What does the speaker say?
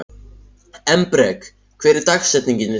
Embrek, hver er dagsetningin í dag?